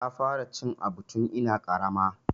Na fara cin aɓu tun ina ƙarama.